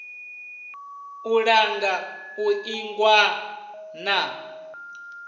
u langa u ingwa na